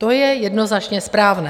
To je jednoznačně správné.